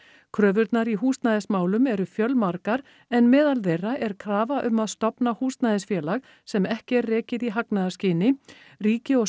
kröfurnar í húsnæðismálum eru fjölmargar en meðal þeirra er krafa um að stofna húsnæðisfélag sem ekki er rekið í hagnaðarskyni ríki og